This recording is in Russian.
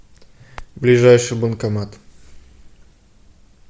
ближайший банкомат